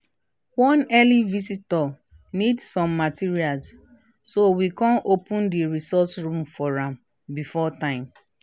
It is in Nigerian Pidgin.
one early visitor need some materials so we kan open the resource room for am before time